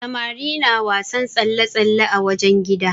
Samari na wasan tsalle-tsalle a wajen gida.